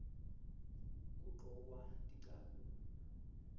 kugcokwa tincabule